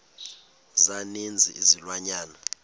za ninzi izilwanyana